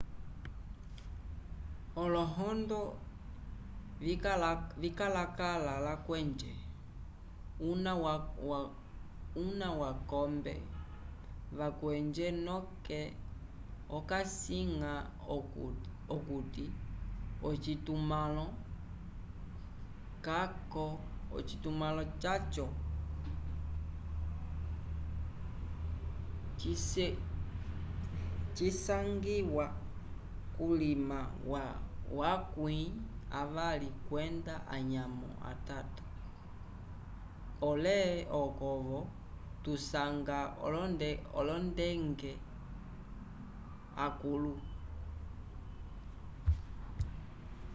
olohondo vikalakala lakwenje – una wakombe wakwenje noke okasiñga okuti ocitumãlo caco cisangiwa kulima wa akwῖ avali kwenda anyamo atito - pole oko-vo kusangiwa olongende akũlu